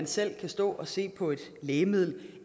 selv kan stå og se på et lægemiddel i